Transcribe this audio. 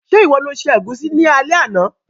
Se ìwo lo se ẹ̀gúsí ni alé àná?